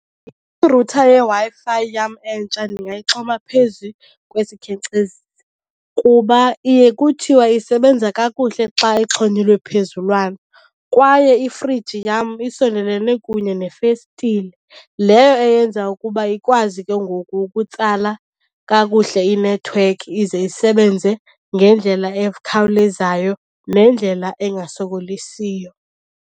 Irutha yeWi-Fi yam entsha ndingayixhoma phezu kwesikhenkcezisi kuba iye kuthiwa isebenza kakuhle xa ixhonyelwe phezulwana. Kwaye ifriji yam isondelelene kunye nefestile, leyo eyenza ukuba ikwazi ke ngoku ukutsala kakuhle inethiwekhi ize isebenze ngendlela ekhawulezayo nendlela engasokolisiyo.